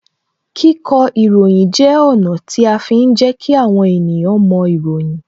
Kíkọ ìròyìn jẹ́ ọ̀nà tí a fi ń jẹ kí àwọn ènìyàn moìròyìn